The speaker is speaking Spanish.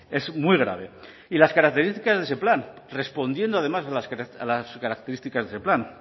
es muy grave y las características de ese plan respondiendo además a las características de ese plan